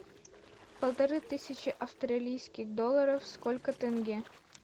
полторы тысячи австралийских долларов сколько тенге